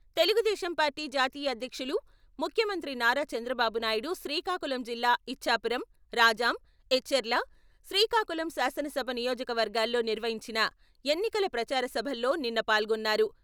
Telugu Desam party జాతీయ అధ్యక్షులు, ముఖ్యమంత్రి నారా చంద్రబాబు నాయుడు శ్రీకాకుళం జిల్లా ఇచ్ఛాపురం, రాజాం, ఎచ్చెర్ల, శ్రీకాకుళం శాసనసభ నియోజకవర్గాల్లో నిర్వహించిన ఎన్నికల ప్రచారసభల్లో నిన్న పాల్గొన్నారు.